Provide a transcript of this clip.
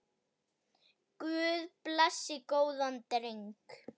Guð blessi góðan dreng.